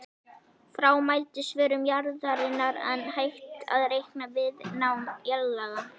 Frá mældri svörun jarðarinnar er hægt að reikna viðnám jarðlaga.